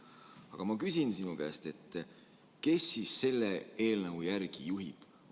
Aga ma küsin sinu käest, kes siis selle eelnõu järgi juhib.